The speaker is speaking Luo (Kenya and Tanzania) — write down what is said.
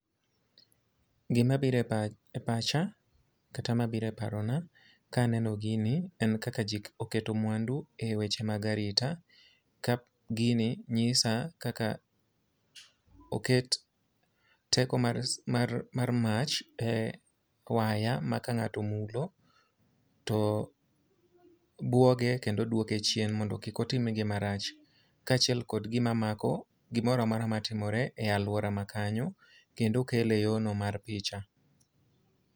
Gima bire pach, e pacha kata mabiro e parona kaneno gini en kaka ji oketo e weche mag arita. Ka gini nyisa kaka oket teko mar, mar mach e waya ma ka ng'ato omulo to bwoge kendo dwoke chien mondo kik otim gima rach. Kaachiel kod gima mako gimora mora ma timore e alwora ma kanyo, kendo okele e yo no mar picha.